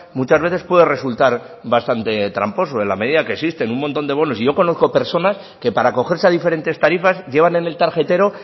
muchas veces puede resultar bastante tramposo en la medida que existe un montón de bonos yo conozco personas que para acogerse a diferentes tarifas llevan en el tarjetero